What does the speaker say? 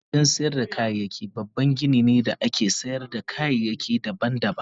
Kantin sayar da kayayyaki babban gini ne da ake sayar da kayayyaki daban-daban.